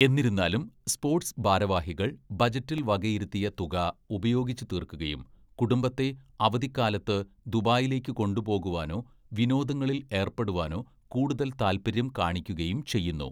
എന്നിരുന്നാലും, സ്പോട്സ് ഭാരവാഹികൾ ബജറ്റിൽ വകയിരുത്തിയ തുക ഉപയോഗിച്ചുതീർക്കുകയും കുടുംബത്തെ അവധിക്കാലത്ത് ദുബായിലേക്ക് കൊണ്ടുപോകുവാനോ വിനോദങ്ങളിൽ ഏർപ്പെടുവാനോ കൂടുതൽ താൽപര്യം കാണിക്കുകയും ചെയ്യുന്നു.